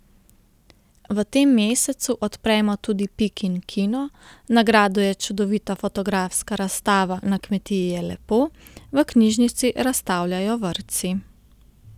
V tem mesecu odpremo tudi Pikin kino, na gradu je čudovita fotografska razstava Na kmetiji je lepo, v knjižnici razstavljajo vrtci.